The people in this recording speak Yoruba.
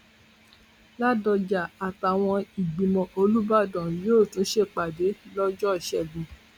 ládọjà àtàwọn ìgbìmọ olùbàdàn yóò tún ṣèpàdé lọjọ ìṣẹgun